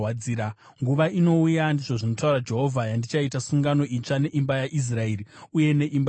“Nguva inouya,” ndizvo zvinotaura Jehovha, “yandichaita sungano itsva neimba yaIsraeri uye neimba yaJudha.